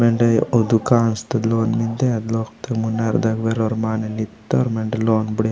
मेन्दे ओ दुकांस तो लोन मेन्दे अद लोग ता मुनार दाय वेर मानितोर मैंडे लोन बुड़ीया।